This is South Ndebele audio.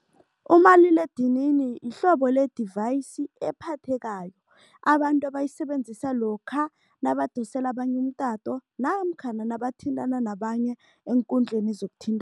Umaliledinini yihlobo le-device ephathekayo. Abantu abayisebenzisa lokha nabadosele abanye umtato namkhana nabathintana nabanye eenkundleni